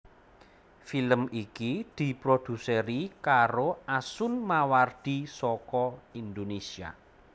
Film iki diproduseri karo Asun Mawardi saka Indonésia